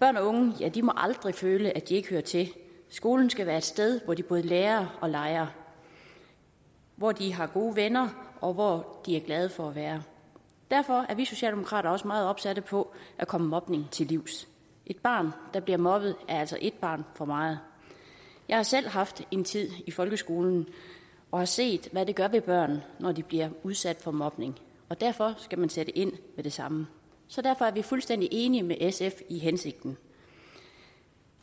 børn og unge må aldrig føle at de ikke hører til skolen skal være et sted hvor de både lærer og leger hvor de har gode venner og hvor de er glade for at være derfor er vi socialdemokrater også meget opsatte på at komme mobningen til livs ét barn der bliver mobbet er altså et barn for meget jeg har selv haft en tid i folkeskolen og har set hvad det gør ved børn når de bliver udsat for mobning og derfor skal man sætte ind med det samme så derfor er vi fuldstændig enige med sf i hensigten